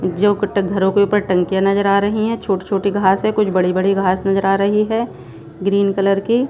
जो कट घरों के ऊपर टंकियां नजर आ रही हैं छोटी-छोटी घास है कुछ बड़ी-बड़ी घास नजर आ रही है ग्रीन कलर की।